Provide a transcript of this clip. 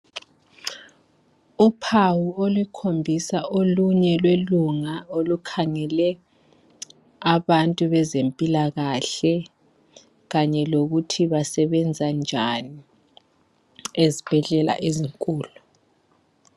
Uphawu olukhombisa olunye lwelunga olukhangele abantu bezempilakahle kanye lokuthi basebenza njani ezibhedlela ezinkulu.